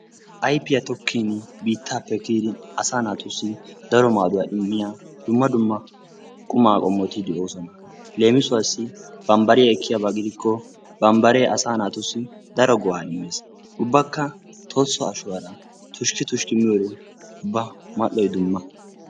Ayfiya tokkiini biittaappe kiyidi asaa naatussi daro maaduwa immiya dumma dumma qumaa qommoti de"oosona. Leemisuwassi bambariya ekkiyaaba gidikko bambaree asaa naatussi daro go"aa immes. Ubbakka tolso ashuwaara tushki tushki miyode ubba mal"oy dumma.